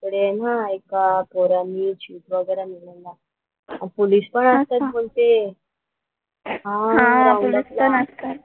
तर आहे न एका पोरानी चिट वगैरा नेलेला. आणि पोलीस पण आणतात बोलते. हा राऊंड अपला असतात.